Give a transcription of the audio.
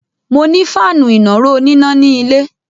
Mo ní fáànù ìnàró oníná ní ilé.